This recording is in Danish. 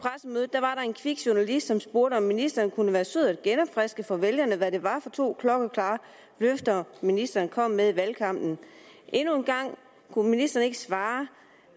der var en kvik journalist som spurgte om ministeren kunne være sød at genopfriske for vælgerne hvad det var for to klokkeklare løfter ministeren kom med i valgkampen endnu en gang kunne ministeren ikke svare